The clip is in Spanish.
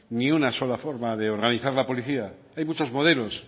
ni una sola forma de organizar la policía hay muchos modelos